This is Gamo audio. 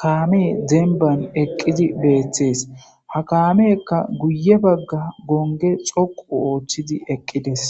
kaame demban eqqidi beeththees ha kaamekka guye bagga gonge xoqu ooththidi eqqides